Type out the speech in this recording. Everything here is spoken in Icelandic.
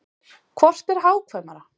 Hvort er hagkvæmara?